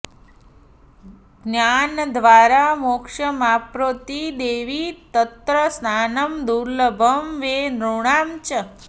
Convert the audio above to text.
ज्ञानद्वारा मोक्षमाप्नोति देवि तत्र स्नानं दुर्ल्लभं वै नृणां च